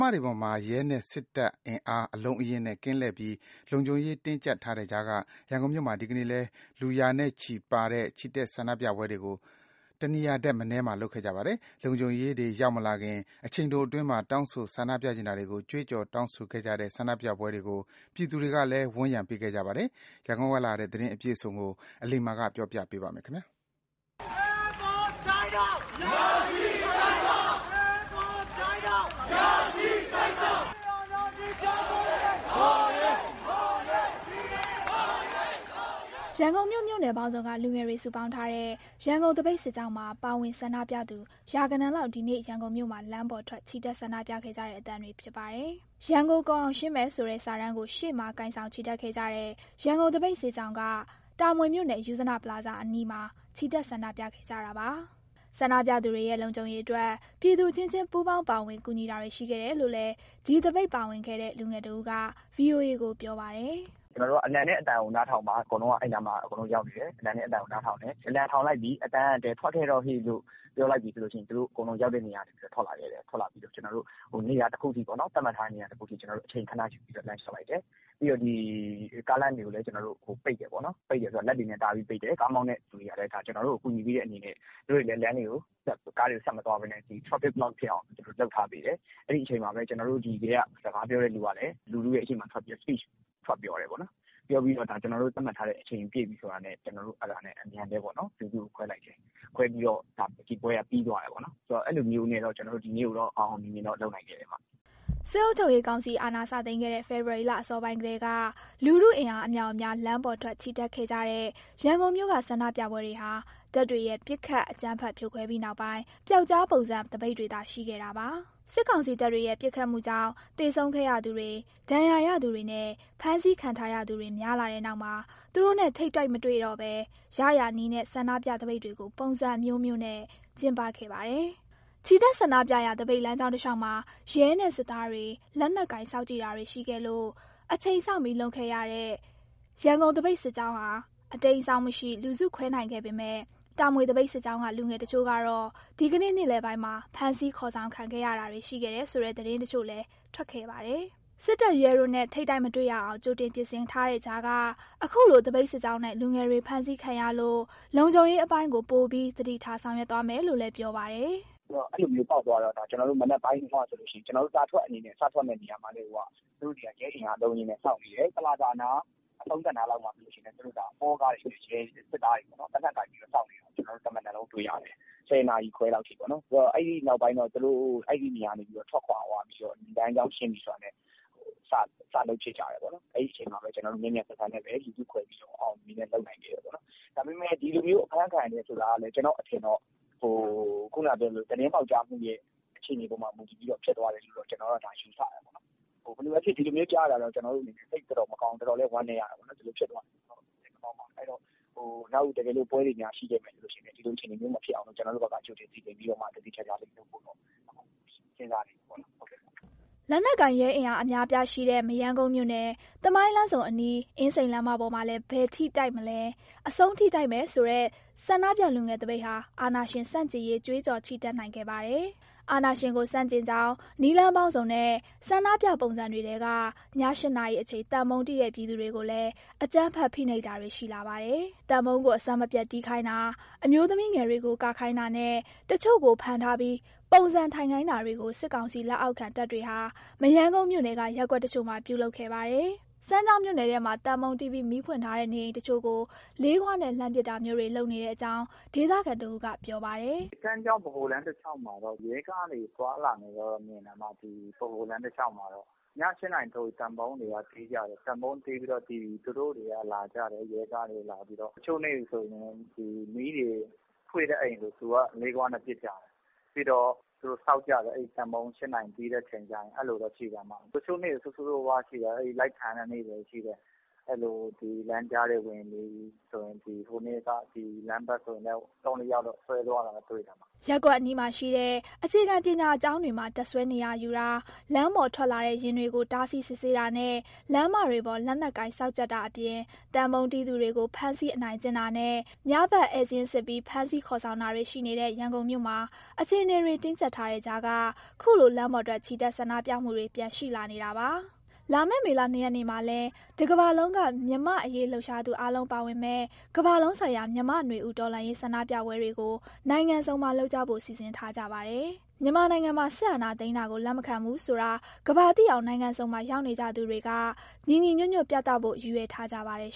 မတွေပေါ်မှာ ရဲနဲ့စစ်တပ်အင်အား အလုံးအရင်းနဲ့ ကင်းလှည့်ပြီး လုံခြုံရေးတင်းကြပ်ထားတဲ့ကြားက ရန်ကုန်မြို့မှာ ဒီနေ့လည်း လူရာချီတဲ့ပါတဲ့ ချီတက်ဆန္ဒပြပွဲတွေကို တနေရာထက်မနည်းမှာ လုပ်ခဲ့ကြပါတယ်။ လုံခြုံရေးတွေ ရောက်မလာခင် အချိန်တိုတွင်းမှာ တောင်းဆို တင်ပြချင်တာတွေကို ကြွေးကြော် တောင်းဆိုခဲ့ကြတဲ့ ဆန္ဒပြပွဲတွေကို ပြည်သူတွေကလည်း ဝန်းရံပေးခဲ့ကြပါတယ်။ ရန်ကုန်ကလာတဲ့ သတင်းအပြည့်အစုံကို အလိမ္မာ က ပြောပြပေးမှာပါ။ ရန်ကုန်မြို့ မြို့နယ်ပေါင်းစုံက လူငယ်တွေစုပေါင်းထားတဲ့ ရန်ကုန်သပိတ်စစ်ကြောင်းမှာ ပါဝင်ဆန္ဒပြသူ ရာဂဏန်းလောက်ဒီနေ့ ရန်ကုန်မြို့မှာ လမ်းပေါ်ထွက် ချီတက်ဆန္ဒပြခဲ့ကြတဲ့အသံတွေဖြစ်ပါတယ်။ ရန်ကိုကုန်အောင်ရှင်းမယ်ဆိုတဲ့ စာတန်းကို ရှေ့မှာကိုင်ဆောင်ချီတက်ခဲ့ကြတဲ့ ရန်ကုန်သပိတ်စစ်ကြောင်းက တာမွေမြို့နယ် ယုဇနပလာဇာအနီးမှာ ချီတက်ဆန္ဒပြခဲ့ကြတာပါ။ ဆန္ဒပြသူတွေရဲ့ လုံခြုံရေးအတွက် ပြည်သူအချင်းချင်း ပူးပေါင်းပါဝင် ကူညီတာတွေရှိခဲ့တယ်လို့လည်း ဒီသပိတ်မှာပါဝင်ခဲ့တဲ့ လူငယ်တဦးက VOA ကိုပြောပါတယ်။ “ကျနော်တို့က အလံနဲ့ အသံကိုနားထောင်ပါ ဆိုတဲ့အတိုင်း အကုန်လုံးက အဲဒီနားမှာရောက်နေပြီး အလံနဲ့အသံကို နားထောင်တယ်။ အလံထောင်လိုက်ပြီ၊ အသံကလည်း ထွက်ခဲ့တော့ဟေ့လို့ ပြောလိုက်ပြီဆိုလို့ရှိရင် သူတို့ရောက်တဲ့နေရာကနေ ထွက်လာခဲ့တယ်။ ထွက်လာပြီးတော့ ကျနော်တို့သတ်မှတ်ထားတဲ့ နေရာတခုအထိ အချိန်ခဏယူပြီးတော့ လမ်းလျှောက်လိုက်တယ်။ ပြီးတော့ ကားလမ်းတွေကိုလည်း ပိတ်တယ်ပေါ့နော်။ ပိတ်တယ်ဆိုတာ လက်တွေနဲ့တားပြီးတော့ ပိတ်တယ်။ ကားမောင်းတဲ့သူတွေကလည်း ကျနော်တို့ကို ကူညီပေးတဲ့အနေနဲ့ သူတို့တွေလည်း ကားတွေကိုဆက်မသွားဘဲနဲ့ traffic block ဖြစ်အောင် လုပ်ထားပေးတယ်။ အဲဒီအချိန်မှာပဲ ကျနော်တို့ထဲက စကားပြောမယ့်သူကလည်း လူထုရှေ့မှာ Speech ထွက်ပြောတယ်ပေါ့နော်။ ပြောပြီးတော့ ကျနော်တို့သတ်မှတ်ထားတဲ့ အချိန်ပြည့်ပြီဆိုတာနဲ့ လူစုကိုအမြန်ခွဲလိုက်တယ်။ ခွဲပြီးတော့ ဒီပွဲက ပြီးသွားတယ်ပေါ့နော်။ ဆိုတော့ အဲလိုမျိုး ကျနော်တို့ ဒီနေ့ကိုတော့ အောင်အောင်မြင်မြင်လုပ်နိုင်ခဲ့တယ်။” စစ်အုပ်ချုပ်ရေးကောင်စီ အာဏာစသိမ်းခဲ့တဲ့ ဖေဖော်ဝါရီလ အစောပိုင်းကတည်းက လူထုအင်အား အမြောက်အများ လမ်းပေါ်ထွက်ချီတက်ခဲ့ကြတဲ့ ရန်ကုန်မြို့က ဆန္ဒပြပွဲတွေဟာ တပ်တွေရဲ့ ပစ်ခတ် အကြမ်းဖက်ဖြိုခွဲပြီးနောက်ပိုင်း ပြောက်ကျားပုံစံသပိတ်တွေသာ ရှိခဲ့တာပါ။ စစ်ကောင်စီတပ်တွေရဲ့ ပစ်ခတ်မှုကြောင့် သေဆုံးခဲ့ရသူတွေ၊ ဒဏ်ရာရသူတွေနဲ့ ဖမ်းဆီးခံထားရသူတွေ များလာတဲ့နောက်မှာ သူတို့နဲ့ထိပ်တိုက်မတွေ့တော့ဘဲ ရရာနည်းနဲ့ ဆန္ဒပြသပိတ်တွေကို ပုံစံမျိုးစုံနဲ့ ကျင်းပခဲ့ပါတယ်။ ချီတက်ဆန္ဒပြရာ သပိတ်လမ်းကြောင်းတလျှောက်မှာ ရဲနဲ့စစ်သားတွေ လက်နက်ကိုင်စောင့်ကြည့်တာတွေ ရှိခဲ့လို့ အချိန်စောင့်ပြီးလုပ်ခဲ့ရတဲ့ ရန်ကုန်သပိတ်စစ်ကြောင်းဟာ အတိမ်းအစောင်းမရှိ လူစုခွဲနိုင်ခဲ့ပေမဲ့ တာမွေသပိတ်စစ်ကြောင်းက လူငယ်တချို့ တော့ ဒီကနေ့ နေ့လည်ပိုင်းမှာ ဖမ်းဆီးခေါ်ဆောင် ခံခဲ့ရတယ်ဆိုတဲ့ သတင်းတချို့လည်း ထွက်ခဲ့ပါတယ်။ စစ်တပ်၊ ရဲတို့နဲ့ ထိပ်တိုက်မတွေ့ရအောင် ကြိုတင်ပြင်ဆင်ထားတဲ့ကြားက အခုလိုသပိတ်စစ်ကြောင်းက လူငယ်တွေဖမ်းဆီးခံရလို့ လုံခြုံရေးအပိုင်းကို ပိုပြီးသတိထားဆောင်ရွက်သွားမယ်လို့ ပြောပါတယ်။ “အဲလိုမျိုး သတင်းပေါက်သွားတော့ ကျနော်တို့ တာထွက်အနေနဲ့ စထွက်မယ့်နေရာမှာတည်းကိုက သူတို့တွေက ရဲအင်အားအလုံးအရင်းနဲ့ စောင့်နေတယ်။ ပလာဇာနား အဆုံးသတ်နားမှာဆိုရင်လည်း သူတို့စစ်သားတွေ၊ ရဲတွေ သေနတ်ကိုင်ပြီး စောင့်နေတာ ကျနော်တို့ တမနက်လုံးတွေ့ရတယ်။ ၁၀ နာရီခွဲလောက် အထိပေါ့... အဲဒီနောက်ပိုင်းတော့ သူတို့အဲဒီနေရာကနေ ထွက်ခွာသွားပြီးတော့ လမ်းကြောင်းရှင်းပြီးတာနဲ့ စလုပ်ဖြစ်ကြတယ်ပေါ့နော်။ အဲဒီအချိန်မှာပဲ ကျနော်တို့မြန်မြန်ဆန်ဆန် အောင်အောင်မြင်မြင်လုပ်ပြီး လူစုခွဲနိုင်ခဲ့တယ်ပေါ့နော်။ ဒါပေမဲ့ ဒီလိုမျိုး အဖမ်းခံရတယ်ဆိုတာလည်း ကျနော့်အထင်တော့ ခုနကပြောသလို သတင်းပေါက်ကြားမှုရဲ့ အခြေအနေပေါ်မှာ မူတည်ပြီးတော့ ဖြစ်သွားတယ်လို့တော့ ကျနော်တော့ယူဆတယ်။ ဘယ်လိုပဲဖြစ်ဖြစ် ဒီလိုမျိုးကြားရတဲ့အတွက် စိတ်တော့မကောင်းဘူး၊ တော်တော်လည်း ဝမ်းနည်းရတယ်။ အဲတော့ နောက် ဒီလိုများပွဲတွေရှိခဲ့မယ်ဆိုရင်လည်း ဒီလိုမဖြစ်အောင်လို့ ကျနော်တို့ဘက်က ကြိုတင်စီစဉ်ပြီးတော့ သေသေချာချာလေး လုပ်ဖို့တော့ စဉ်းစားနေပါတယ်။” လက်နက်ကိုင် ရဲအင်အားအများအပြား ရှိနေတဲ့ မရမ်းကုန်းမြို့နယ်၊ သမိုင်းလမ်းဆုံအနီး အင်းစိန်လမ်းမပေါ်မှာလည်း ဘယ်ထိတိုက်မလဲ၊ အဆုံးထိတိုက်မယ်ဆိုတဲ့ ဆန္ဒပြလူငယ်သပိတ်ဟာ အာဏာရှင်ဆန့်ကျင်ရေး ကြွေးကြော်ချီတက်နိုင်ခဲ့ပါတယ်။ အာဏာရှင်ကို ဆန့်ကျင်ကြောင်း နည်းလမ်းပေါင်းစုံနဲ့ ဆန္ဒပြပုံစံတွေထဲက ည ၈နာရီအချိန် သံဗုံးတီးတဲ့ ပြည်သူတွေကိုလည်း အကြမ်းဖက်ဖိနှိပ်တာတွေ ရှိလာပါတယ်။ သံဗုံးကို အဆက်မပြတ်တီးခိုင်းတာ၊ အမျိုးသမီးငယ်တွေကို ကခိုင်းတာနဲ့ တချို့ကို ဖမ်းထားပြီး ပုံစံထိုင်ခိုင်းတာတွေကို စစ်ကောင်စီလက်အောက်ခံ တပ်တွေဟာ မရမ်းကုန်းမြို့နယ်က ရပ်ကွက်တချို့မှာ ပြုလုပ်ခဲ့ပါတယ်။ စမ်းချောင်းမြို့နယ်ထဲမှာတော့ သံဗုံးတီးပြီး မီးဖွင့်ထားတဲ့ နေအိမ်တချို့ကို လေးခွနဲ့လှမ်းပစ်တာမျိုးတွေ လုပ်နေတဲ့အကြောင်း ဒေသခံတဦးက ပြောပါတယ်။ “စမ်းချောင်း-ဗဟိုလမ်း တလျှောက်မှာတော့ ရဲကားတွေသွားလာနေတာတော့ မြင်တယ်။ ည ၈နာရီဆိုရင်တော့ သံဗုံးတွေက တီးကြတယ်။ သံဗုံးတီးရင် ရဲကားတွေလာကြတယ်။ တချို့နေ့တွေဆိုရင် မီးဖွင့်တဲ့အိမ်ကို သူတို့က လေးခွနဲ့ပစ်ကြတယ်။ ပြီးတော့ သံဗုံးတီးတဲ့ ၈နာရီအချိန်ဆို သူတို့စောင့်ကြည့်တယ်။ တချို့နေ့တွေ ဆိုးဆိုးရွားရွားပဲ... လိုက်ဖမ်းတဲ့နေ့တွေရှိတယ်။ လမ်းကြားတွေဝင်ပြီး ဟိုတနေ့ကဆိုရင် ဒီဘက်လမ်းနားမှာ ၃-၄ ယောက်လောက် ဆွဲသွားတာ တွေ့တယ်။” ရပ်ကွက်အနီးမှာရှိတဲ့ အခြေခံပညာကျောင်းတွေမှာ တပ်စွဲနေရာယူတာ၊ လမ်းပေါ်ထွက်လာတဲ့ယာဉ်တွေကို တားဆီးစစ်ဆေးတာနဲ့ လမ်းမတွေပေါ် လက်နက်ကိုင် စောင့်ကြပ်တာအပြင် သံဗုံးတီးသူတွေကို ဖမ်းဆီးအနိုင်ကျင့်တာနဲ့ ညဖက် ဧည့်စာရင်းစစ်ပြီး ဖမ်းဆီးခေါ်ဆောင်သွားတာတွေ ရှိနေတဲ့ ရန်ကုန်မြို့မှာ အခြေအနေတွေ တင်းကြပ်ထားတဲ့ကြားက ခုလိုလမ်းပေါ်ထွက် ချီတက်ဆန္ဒပြမှုတွေ ပြန်ရှိလာနေတာပါ။ လာမယ့် မေလ ၂ရက်နေ့မှာလည်း တကမ္ဘာလုံးက မြန်မာ့အရေးလှုပ်ရှားသူ အားလုံးပါဝင်မယ့် ကမ္ဘာလုံးဆိုင်ရာ မြန်မာ့နွေဦး တော်လှန်ရေးဆန္ဒပြပွဲတွေကို နိုင်ငံစုံမှာလုပ်ကြဖို့ စီစဉ်ထားကြပါတယ်။ မြန်မာနိုင်ငံမှာ စစ်အာဏာသိမ်းတာကို လက်မခံဘူးဆိုတာ ကမ္ဘာသိအောင် နိုင်ငံစုံမှာ ရောက်နေကြသူတွေက ညီညီညွတ်ညွတ်ပြသဖို့ ရည်ရွယ်ထားကြပါတယ်